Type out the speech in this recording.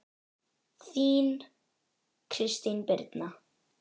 Þín, Kristín Birna.